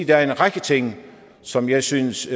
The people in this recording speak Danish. der er en række ting som jeg synes